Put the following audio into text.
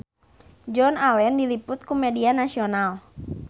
Joan Allen diliput ku media nasional